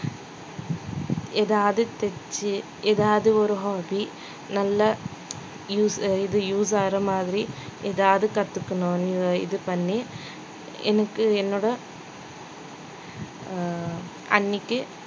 எதாவது தெச்சு எதாவது ஒரு hobby நல்ல use இது use ஆகுற மாதிரி எதாவது கத்துக்கணும் இது பண்ணி எனக்கு என்னோட ஆஹ் அண்ணிக்கு